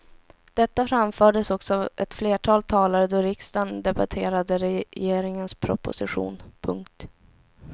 Detta framfördes också av ett flertal talare då riksdagen debatterade regeringens proposition. punkt